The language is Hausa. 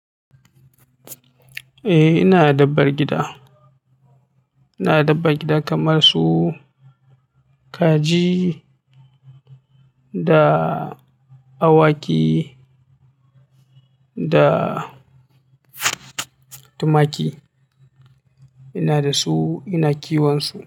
Eh, ina da dabar gida. Ina da dabar gida kamar su kaji da awaki da tumaki. Ina da su, ina kiwon su.